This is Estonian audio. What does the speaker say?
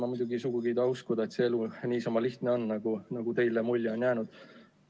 Ma muidugi ei taha uskuda, et see elu on niisama lihtne, nagu teile mulje on jäänud.